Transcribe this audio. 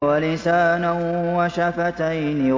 وَلِسَانًا وَشَفَتَيْنِ